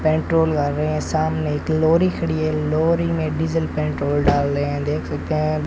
Petrol कर रहे हैं सामने एक लोरी खड़ी है लोरी में डीजल पेट्रोल डाल रहे हैं देख सकते हैं।